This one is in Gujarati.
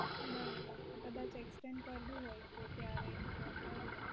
બરોબર કદાચ exchange કરવું હોય તો ત્યારે કરી આપું